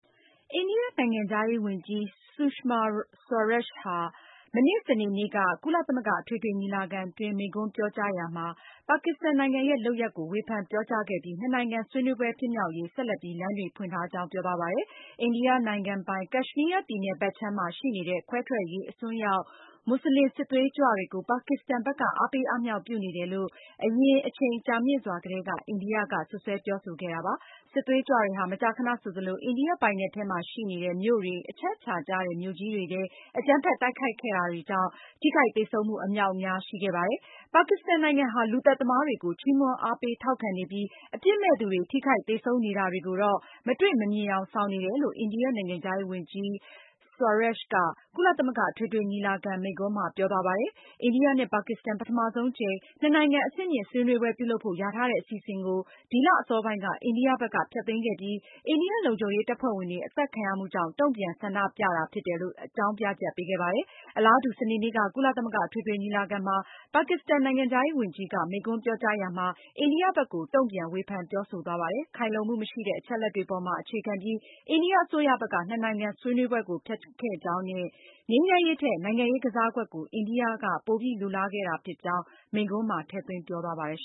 အိန္ဒိယနိုင်ငံခြားရေးဝန်ကြီး Sushma Swaraj ဆူရှမာ ဆွာရာ့ချ် ဟာ မနေ့ စနေနေ့က ကုလသမဂ္ဂ အထွေထွေ ညီလာခံတွင်း မိန့်ခွန်းပြောကြားရာမှာပါကစ္စတန်နိုင်ငံရဲ့ လုပ်ရပ်ကို ဝေဖန်ပြောကြား ခဲ့ပြီး နှစ်နိုင်ငံဆွေးနွေးပွဲ ဖြစ်မြောက်ရေး ဆက်လက်ပြီး လမ်းတွေဖွင့်ထားကြောင်း ပြောသွားပါတယ်။ အိန္ဒိယနိုင်ငံပိုင် Kashmir ပြည်နယ်ဘက်ခြမ်းမှာ ရှိနေတဲ့ ခွဲထွက်ရေး အစွန်းရောက် မွတ်စလင် စစ်သွေးကြွတွေ ကို ပါကစ္စတန်ဘက်က အားပေးအားမြှောက်ပြုနေတယ်လို့ အရင်အချိန်ကြာမြင့်စွာ ကတည်းက အိန္ဒိယက စွပ်စွဲ ပြောဆိုခဲ့တာပါ။ စစ်သွေးကြွတွေဟာ မကြာခဏဆိုသလို အိန္ဒိယ ပိုင်နက်ထဲ ရှိနေတဲ့ မြို့တွေ၊ အချက်အချာ ကျတဲ့ မြို့ကြီးတွေထဲ အကြမ်းဖက် တိုက်ခိုက်တာ တွေကြောင့် ထိခိုက်သေဆုံးမှု အမြောက်အများရှိခဲ့တာပါ။ ပါကစ္စတန်နိုင်ငံဟာ လူသတ်သမားတွေကို ချီးမွမ်း အားပေးထောက်ခံနေပြီး အပြစ်မဲ့သူတွေ ထိခိုက်သေဆုံးနေ တာတွေကိုတော့ မတွေ့မမြင်ယောင်ဆောင်နေတယ်လို့ အိန္ဒိယနိုင်ငံခြားရေး ဝန်ကြီး Swaraj က ကုလသမဂ္ဂ အထွေထွေညီလာခံ မိန့်ခွန်းမှာ ပြောသွားပါတယ်။ အိန္ဒိယနဲ့ ပါကစ္စတန် ပထမဆုံးအကြိမ် နှစ်နိုင်ငံအဆင်မြင့် ဆွေးနွေးပွဲပြုလုပ်ဖို့ လျာထားတဲ့အစီအစဉ်ကို ဒီလအစောပိုင်းက အိန္ဒိယဘက်က ဖျက်သိမ်းခဲ့ပြီး အိန္ဒိယ လုံခြုံရေး တပ်ဖွဲ့ဝင်တွေ အသတ်ခံရမှု ကြောင့်တုံ့ပြန်ဆန္ဒပြတာဖြစ်တယ်လို့ အကြောင်းပြချက်ပေးခဲ့ပါတယ်။ အလားတူစနေနေ့က ကုလသမဂ္ဂအထွေထွေညီလာခံမှာ ပါကစ္စတန် နိုင်ငံခြားရေးဝန်ကြီး Shah Mehmood Qureshi က မိန့်ခွန်းပြောကြားရာမှာ အိန္ဒိယဘက်ကို တုံ့ပြန်ဝေဖန်ပြောဆိုသွားပါတယ်။ ခိုင်လှုံမှုမရှိတဲ့ အချက်အလက်တွေပေါ်မှာ အခြေခံပြီး အိန္ဒိယအစိုးရဘက်က နှစ်နိုင်ငံဆွေးနွေးပွဲကို ဖျက်ခဲ့ကြောင်းနဲ့ ငြိမ်းချမ်းရေးထက် နိုင်ငံရေးကစားကွက်ကို အိန္ဒိက ပိုပြီးလိုလားခဲ့ကြောင်း သူရဲ့မိန့်ခွန်းမှာ ထည့်သွင်းပြောသွား ပါတယ်